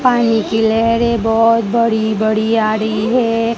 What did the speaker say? पानी की लहरे बहोत बड़ी बड़ी आ रही हैं।